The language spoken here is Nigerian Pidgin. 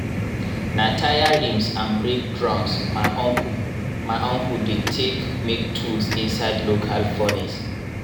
na tyre rims and brake drums my uncle my uncle dey take make tools inside local furnace. um